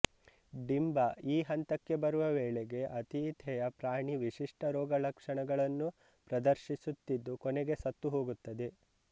ಡಿಂಬ ಈ ಹಂತಕ್ಕೆ ಬರುವ ವೇಳೆಗೆ ಆತಿಥೇಯ ಪ್ರಾಣಿ ವಿಶಿಷ್ಟ ರೋಗಲಕ್ಷಣಗಳನ್ನು ಪ್ರದರ್ಶಿಸುತ್ತಿದ್ದು ಕೊನೆಗೆ ಸತ್ತು ಹೋಗುತ್ತದೆ